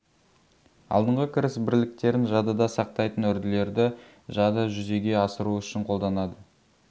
алдыңғы кіріс бірліктерін жадыда сақтайтын үрділерді жады жүзеге асыру үшін қолданады